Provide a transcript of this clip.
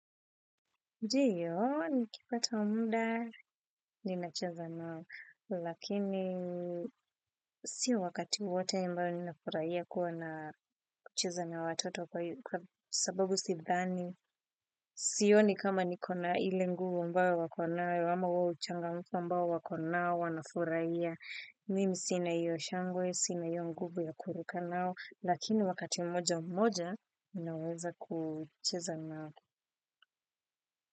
Ndiyo, nikipata muda, ninacheza nao, lakini sio wakati wote ambao ninafurahia kuwa na kucheza na watoto kwa sababu sidhani. Sioni kama niko na ile nguvu ambayo wako nayo ama huo uchangamfu ambao wako nao wanafurahia. Mimi sina iyo shangwe, sina hiyo nguvu ya kuruka nao, lakini wakati mmoja mmoja, ninaweza kucheza nao.